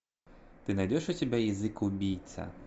ты найдешь у себя язык убийца